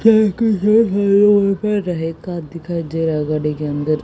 car दिखाई दे रहा है गाड़ी के अंदर--